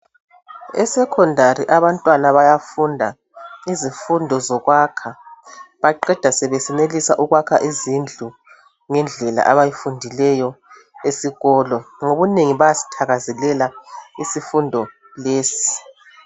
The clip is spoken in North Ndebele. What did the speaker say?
E secondary abantwana bayafunda izifundo zokwakha baqeda sebesenelisa ukwakha izindlu ngendlela abayifundileyo esikolo ngobunengi bayazithakazelela izifundo lezi.